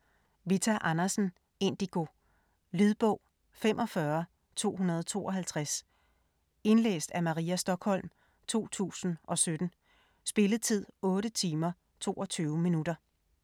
Andersen, Vita: Indigo Lydbog 45252 Indlæst af Maria Stokholm, 2017. Spilletid: 8 timer, 22 minutter.